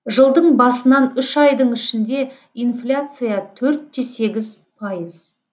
жылдың басынан үш айдың ішінде инфляция төрт те сегіз пайыз